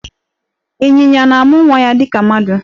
Ịnyịnya na-amụ nwa ya dịka mmadụ